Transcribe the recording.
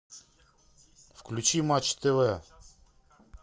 включи матч тв